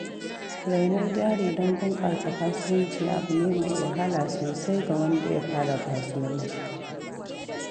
Rainon jari don bunƙasa kasuwanci abune mai wahala sosai ga wanda ya fara kasuwanci.